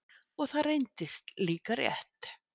Og það reyndist líka rétt.